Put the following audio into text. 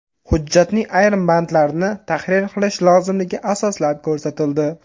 Hujjatning ayrim bandlarini tahrir qilish lozimligi asoslab ko‘rsatildi.